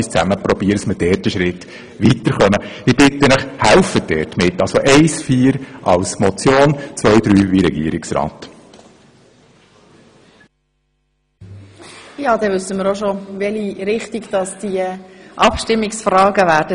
Das heisst, die Punkte 1 und 4 bleiben als Motion bestehen, und mit den Punkten 2 und 3 verfahren wir so, wie es der Regierungsrat vorgeschlagen hat.